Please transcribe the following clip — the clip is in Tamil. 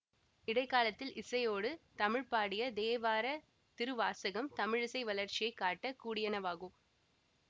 இடை காலத்தில் இசையோடு தமிழ் பாடிய தேவார திருவாசகம் தமிழிசை வளர்ச்சியை காட்டக் கூடியனவாகும்